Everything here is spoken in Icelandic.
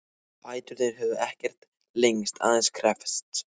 Fæturnir höfðu ekkert lengst, aðeins kreppst.